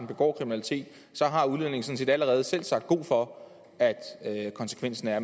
begår kriminalitet så har udlændingen sådan set allerede selv sagt god for at konsekvensen er at